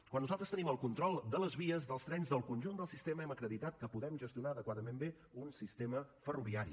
quan nosaltres tenim el control de les vies dels trens del conjunt del sistema hem acreditat que podem gestionar adequadament bé un sistema ferroviari